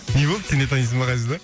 не болды сен де танисың ба ғазизды